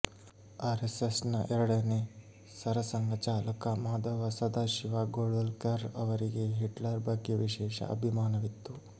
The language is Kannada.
ಆರೆಸ್ಸೆಸ್ನ ಎರಡನೇ ಸರ ಸಂಘಚಾಲಕ ಮಾಧವ ಸದಾಶಿವ ಗೋಳ್ವಲ್ಕರ್ ಅವರಿಗೆ ಹಿಟ್ಲರ್ ಬಗ್ಗೆ ವಿಶೇಷ ಅಭಿಮಾನವಿತ್ತು